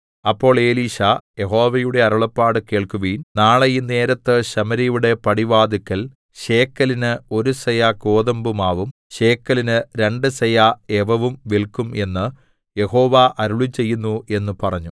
അപ്പോൾ എലീശാ യഹോവയുടെ അരുളപ്പാട് കേൾക്കുവിൻ നാളെ ഈ നേരത്ത് ശമര്യയുടെ പടിവാതില്ക്കൽ ശേക്കെലിന് ഒരു സെയാ ഗോതമ്പുമാവും ശേക്കലിന് രണ്ടു സെയാ യവവും വില്ക്കും എന്ന് യഹോവ അരുളിച്ചെയ്യുന്നു എന്ന് പറഞ്ഞു